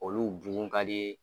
Olu bugun ka di